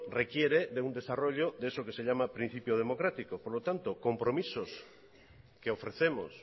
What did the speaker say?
requiere de un desarrollo de eso que se llama principio democrático por lo tanto compromisos que ofrecemos